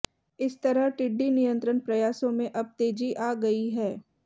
इस तरह टिड्डी नियंत्रण प्रयासों में अब तेजी आ गई है